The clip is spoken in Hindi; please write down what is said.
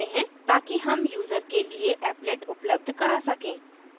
ताकि हम यूजर के लिए applet उपलब्ध करा सकें